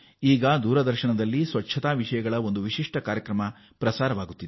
ಈಗ ದೂರದರ್ಶನವು ಸ್ವಚ್ಛತಾ ಸಮಾಚಾರ್ ಎಂಬ ಹೊಸ ವಿಶೇಷ ಕಾರ್ಯಕ್ರಮ ಪ್ರಸಾರ ಮಾಡುತ್ತಿದೆ